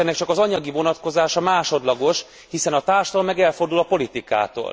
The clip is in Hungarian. És ennek csak az anyagi vonatkozása másodlagos, hiszen a társadalom meg elfordul a politikától.